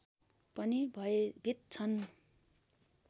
पनि भयभीत छन्